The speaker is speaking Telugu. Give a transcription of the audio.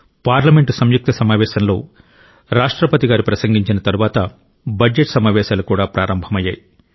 పార్లమెంటు సంయుక్త సమావేశంలో రాష్ట్రపతి ప్రసంగించిన తరువాత బడ్జెట్ సమావేశాలు కూడా ప్రారంభమయ్యాయి